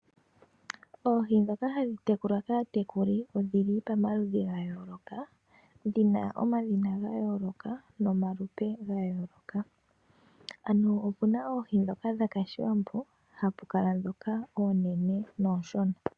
Oohi ndhoka hadhi tekulwa kaatekuli odhi li pamaludhi ga yooloka, dhina omadhina ga yooloka nomalupe gayooloka . Ano opu na oohi ndhoka dhakashiwambo, hapu kala ndhoka oonene noonshona.